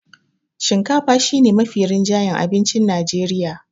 shinkafa shi ne Mafi rinjayen abincin Najreriya